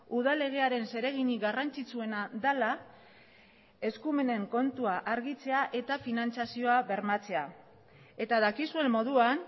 udal legearen zereginik garrantzitsuena dela eskumenen kontua argitzea eta finantzazioa bermatzea eta dakizuen moduan